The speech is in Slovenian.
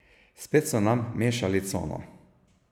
Spet so nam mešali cono.